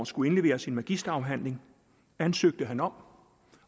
skulle indlevere sin magisterafhandling ansøgte han om